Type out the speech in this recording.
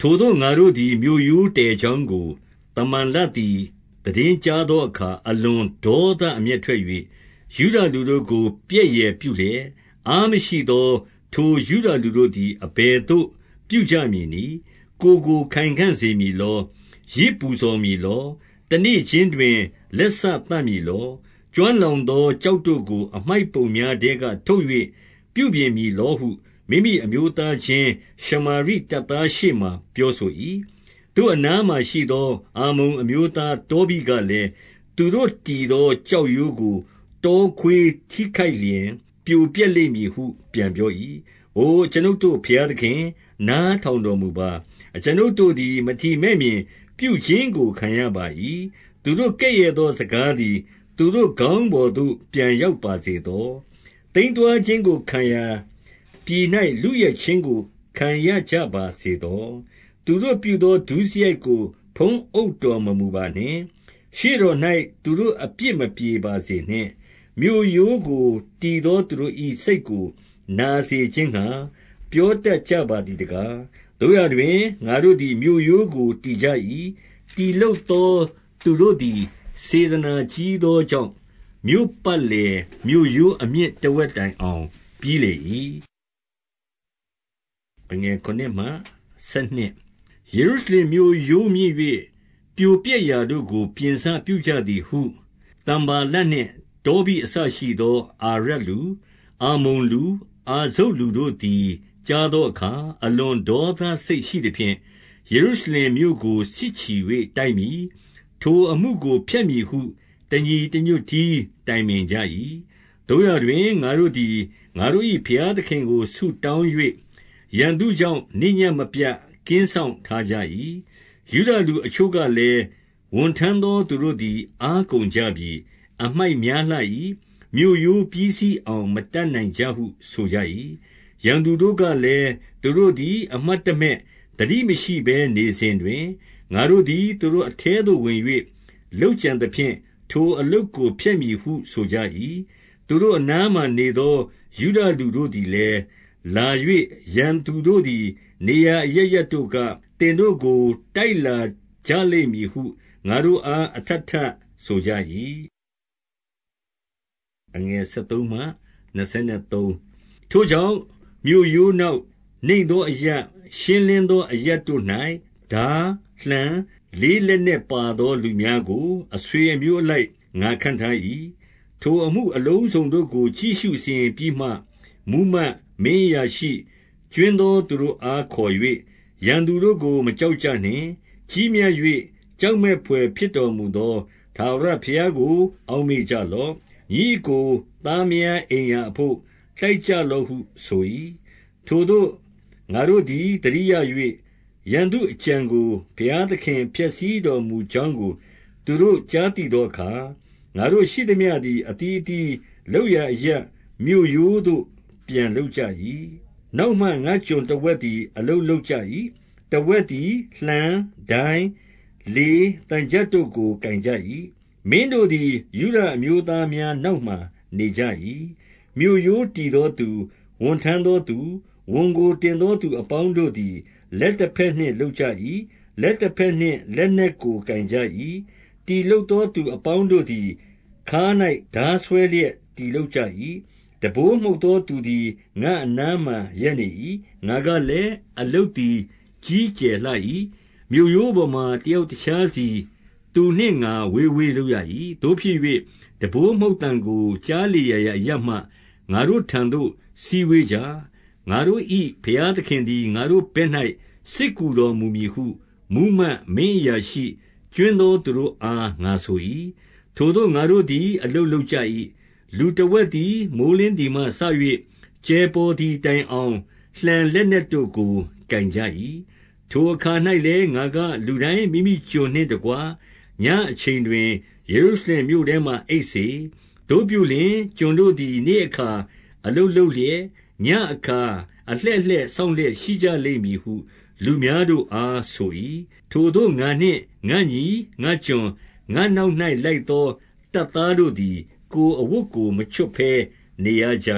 ထိုသို့ငါတို့သည် မြို့ရိုးတည်ကြောင်းကို၊ သမ္ဘာ လတ်သည် သိတင်းကြားသောအခါ၊ အလွန်ဒေါသ အမျက်ထွက်၍၊ ယုဒလူတို့ကို ပြက်ယယ်ပြုလျက်၊ 2 အားမရှိသော ထိုယုဒလူတို့သည် အဘယ်သို့ ပြုကြမည်နည်း။ ကိုယ်ကို ခိုင်ခံ့စေမည်လော။ ယဇ်ပူဇော် မည်လော။ တနေ့ခြင်းတွင် လက်စသတ်မည်လော။ ကျွမ်းလောင်သော ကျောက်တို့ကို အမှိုက်ပုံများထဲက ထုတ်၍ ပြုပြင်မည်လောဟု မိမိအမျိုးသားချင်း၊ ရှမာရိ တပ်သားရှေ့မှာ ပြောဆို၏။ 3 သူ့အနားမှာရှိသော အမ္မုန်အမျိုးသား တောဘိ ကလည်း၊ သူတို့တည်သော ကျောက်ရိုးကို တောခွေး ထိခိုက်လျှင် ပြိုလဲလိမ့်မည်ဟု ပြန်ပြော၏။ 4 အို အကျွန်ုပ်တို့ ဘုရားသခင်၊ နားထောင် တော်မူပါ။ အကျွန်ုပ်တို့သည် မထီမဲ့မြင်ပြုခြင်းကို ခံရပါ ၏။ သူတို့ကဲ့ရဲ့သောစကားသည်၊ သူတို့ ခေါင်းပေါ်သို့ ပြန်ရောက်ပါစေသော။ သိမ်းသွားခြင်းကိုခံရာ ပြည်၌ လုယက်ခြင်းကို ခံရကြပါစေသော။ 5 သူတို့ပြုသော ဒုစရိုက်ကို ဖုံးအုပ်တော်မမူပါနှင့်။ ရှေ့တော်၌ သူတို့အပြစ်မပြေပါစေနှင့်။ မြို့ရိုးကို တည် သော သူတို့၏စိတ်ကို နာစေခြင်းငှါ၊ ပြောတတ်ကြပါသည် တကား။ 6 သို့ရာတွင် ငါတို့သည် မြို့ရိုးကိုတည်ကြ၏။ တည်လုပ်သော သူတို့သည် စေတနာ ကြီးသောကြောင့်၊ မြို့ပတ်လည် မြို့ရိုးအမြင့် တဝက်တိုင်အောင် ပြီးလေ၏။ 7 ယေရုရှလင်မြို့ရိုးမြင့်၍ ပြိုပျက်ရာတို့ကို ပြင်စ ပြုကြသည်ဟု သမ္ဘာလတ်နှင့် တောဘိအစရှိသော အာရပ်လူ၊ အမ္မုန်လူ၊ အာဇုတ်လူတို့သည် ကြားသော အခါ၊ အလွန်ဒေါသစိတ်ရှိသဖြင့်၊ 8 ယေရုရှလင်မြို့ကို စစ်ချီ၍ တိုက်မည်။ ထိုအမှုကို ဖျက်မည်ဟု တညီတညွတ်တည်း တိုင်ပင်ကြ၏။ 9 သို့ရာတွင် ငါတို့သည် ငါတို့၏ ဘုရားသခင်ကို ဆုတောင်း၍၊ ရန်သူကြောင့် နေ့ညဉ့်မပြတ် ကင်းစောင့် ထားကြ၏။ 10 ယုဒလူ အချို့ကလည်း၊ ဝန်ထမ်းသော သူတို့ သည် အားကုန်ကြပြီ။ အမှိုက်များလှ၏။ မြို့ရိုးပြီးစီး အောင် မတတ်နိုင်ကြဟု ဆိုကြ၏။ 11 ရန်သူတို့ကလည်း၊ သူတို့သည် အမှတ်တမဲ့၊ သတိမရှိဘဲနေစဉ်တွင်၊ ငါတို့သည် သူတို့အထဲသို့ဝင်၍ လုပ်ကြံသဖြင့်၊ ထိုအလုပ်ကို ဖျက်မည်ဟု ဆိုကြ၏။ 12 သူတို့အနားမှာနေသော ယုဒလူတို့သည်လည်း၊ လာ၍ ရန်သူတို့သည် နေရာအရပ်ရပ်တို့က၊ သင်တို့ကို တိုက်လာကြလိမ့်မည်ဟု ငါတို့အား အထပ်ထပ် ဆိုကြ၏။ 13 ထိုကြောင့် မြို့ရိုးနောက်၊ နိမ့်သောအရပ်၊ ရှင်း လင်းသော အရပ်တို့၌ ထား၊ လှံ၊ လေးလက်နက်ပါသော လူများကို အဆွေအမျိုးအလိုက် ငါခန့်ထား၏။ 14 ထိုအမှုအလုံးစုံတို့ကို ကြည့်ရှု စီရင်ပြီးမှ မှူးမတ်၊ မင်းအရာရှိ၊ ကြွင်းသောသူတို့အားခေါ်၍၊ ရန်သူတို့ကို မကြောက်ကြနှင့်။ ကြီးမြတ်၍ ကြောက်မက်ဘွယ် ဖြစ် တော်မူသော ထာဝရဘုရားကို အောက်မေ့ကြလော့။ ညီအစ်ကို သားမယားအိမ်ရာအဘို့ တိုက်ကြလော့ဟု ဆို၏။ 15 ထိုသို့ငါတို့သည် သတိရ၍၊ ရန်သူအကြံကို ဘုရားသခင် ဖျက်ဆီးတော်မူကြောင်းကို သူတို့ကြားသိ သောအခါ၊ ငါတို့ရှိသမျှသည် အသီးအသီး လုပ်ရာအရပ် မြို့ရိုးသို့ပြန်လုပ်ကြ၏။ 16 နောက်မှ ငါ့ကျွန်တဝက်သည် အလုပ်လုပ်ကြ ၏။ တဝက်သည် လှံ၊ ဒိုင်း၊ လေး၊ သံချပ်တို့ကို ကိုင်ကြ၏။ မင်းတို့သည် ယုဒအမျိုးသားများနောက်မှာ နေကြ၏။ 17 မြို့ရိုးတည်သောသူ၊ ဝန်ထမ်းသောသူ၊ ဝန်ကို တင်သောသူအပေါင်းတို့သည် လက်တဘက်နှင့် လုပ်ကြ ၏။ လက်တဘက်နှင့် လက်နက်ကိုကိုင်ကြ၏။ 18 တည်လုပ်သော သူအပေါင်းတို့သည်၊ ခါး၌ ထား ဆွဲလျက် တည်လုပ်ကြ၏။ တံပိုးမှုတ်သောသူသည် ငါ့အနားမှာ ရပ်နေ၏။ 19 ငါကလည်း၊ အလုပ်သည် ကြီးကျယ်လှ၏။ မြို့ရိုးပေါ်မှာ တယောက်တခြားစီ သူနှင့်ငါဝေးဝေး လုပ်ရ ၏။ 20 သို့ဖြစ်၍၊ တံပိုးမှုတ်သံကို ကြားလေရာရာအရပ် မှ၊ ငါတို့ထံသို့ စည်းဝေးကြ။ ငါတို့၏ ဘုရားသခင်သည် ငါတို့ဘက်၌ စစ်ကူတော်မူမည်ဟု မှူးမတ်၊ မင်းအရာရှိ၊ ကြွင်းသောသူတို့အား ငါဆို၏။ 21 ထိုသို့ ငါတို့သည် အလုပ်လုပ်ကြ၏။ လူတဝက် သည် မိုဃ်းလင်းသည်မှစ၍ ကြယ်ပေါ်သည်တိုင်အောင်၊ လှံလက်နက်တို့ကို ကိုင်ကြ၏။ 22 ထိုအခါ၌လည်း၊ ငါကလူတိုင်း မိမိကျွန်နှင့် တကွညဉ့်အချိန်တွင်၊ ယေရုရှလင်မြို့ထဲမှာ အိပ်စေ။ သို့ပြုလျှင်၊ ကျွန်တို့သည် နေ့အခါ အလုပ်လုပ်လျက်၊ ညဉ့်အခါ အလှည့်လှည့်စောင့်လျက် ရှိကြလိမ့်မည်ဟု လူများတို့အား ဆို၏။ 23 ထိုသို့ ငါနှင့်ငါ့ညီ၊ ငါ့ကျွန်၊ ငါ့နောက်၌ လိုက် သောတပ်သားတို့သည်၊ ကိုယ်အဝတ်ကို မချွတ်ဘဲနေရ ကြ